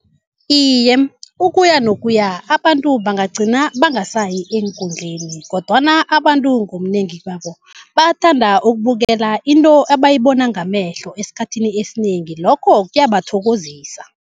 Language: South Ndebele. Iye, ukuyanokuya abantu bangagcina bangasayi eenkundleni, kodwana abantu ngobunengi babo bathanda ukubukela into abayibona ngamehlo esikhathini esinengi lokho kuyabathokozisa.